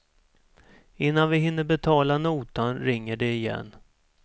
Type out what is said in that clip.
Innan vi hinner betala notan ringer det igen.